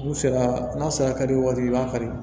N'u sera n'a sera kari waati i b'a falen